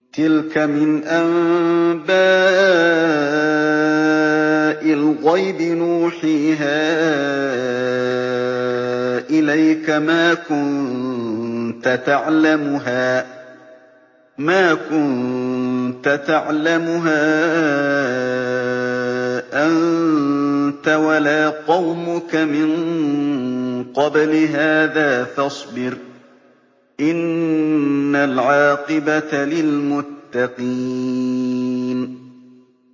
تِلْكَ مِنْ أَنبَاءِ الْغَيْبِ نُوحِيهَا إِلَيْكَ ۖ مَا كُنتَ تَعْلَمُهَا أَنتَ وَلَا قَوْمُكَ مِن قَبْلِ هَٰذَا ۖ فَاصْبِرْ ۖ إِنَّ الْعَاقِبَةَ لِلْمُتَّقِينَ